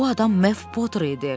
Bu adam Mev Poter idi.